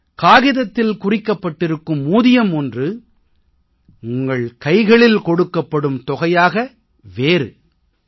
காகிதத்தில் குறிக்கப்பட்டிருக்கும் ஊதியம் ஒன்று உங்கள் கைகளில் கொடுக்கப்படும் தொகையாக வேறு என்ற நிலைமை ஒன்று